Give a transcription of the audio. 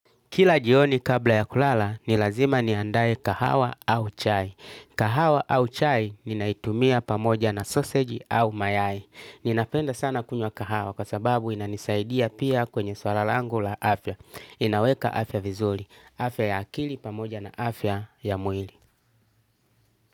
Kila jioni kabla ya kulala ni lazima niandae kahawa au chai. Kahawa au chai ninaitumia pamoja na sausage au mayai. Ninapenda sana kunywa kahawa kwa sababu inanisaidia pia kwenye swala langu la afya. Inaweka afya vizuri. Afya ya akili pamoja na afya ya mwili.